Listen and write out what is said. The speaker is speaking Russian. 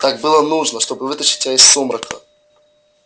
так было нужно чтобы вытащить тебя из сумрака